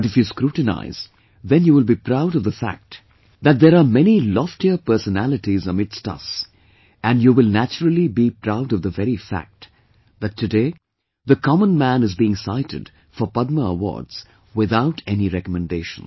But if you scrutinize, then you will be proud of the fact that there many loftier personalities amidst us and you will naturally be proud of the very fact that today the common man is being cited for Padma awards without any recommendations